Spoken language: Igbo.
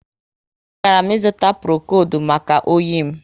A garam ịzụta Prokodu maka oyi m